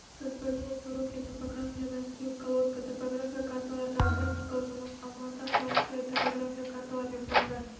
господинов сорокин топография мәскеу колодько топографиялық карталардағы практикалық жұмыс алма-ата куанышбаев топографиялық карталар мен пландар